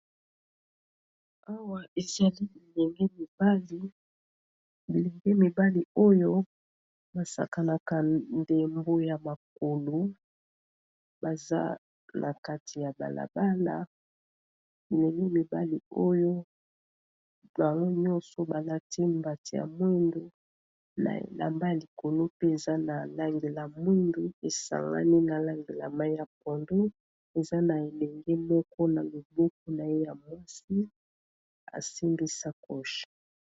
Awa ezali bilenge mibali oyo basakanaka ndembo ya makolo baza na kati ya balabala bilenge mibali oyo bango nyonso balati mbati ya mwindu na elamba likolo pe eza na langi ya mwindu esangani na langilamai ya pondu eza na ebenge moko na loboku na ye ya mwasi asimbi sa coshe